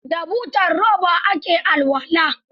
Da butar roba ake alwala.